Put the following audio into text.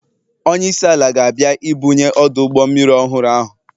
Onye isi ala ga-abịa ibunye ọdụ ụgbọ mmiri ọhụrụ ahụ